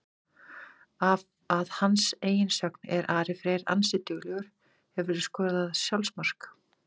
Að hans eigin sögn er Ari Freyr ansi duglegur Hefurðu skorað sjálfsmark?